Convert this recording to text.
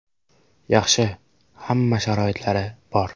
Yaxshi, hamma sharoitlari bor.